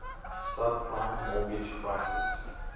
subprime mortgage crisis